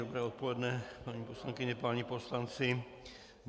Dobré odpoledne, paní poslankyně, páni poslanci.